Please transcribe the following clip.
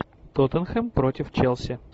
тоттенхэм против челси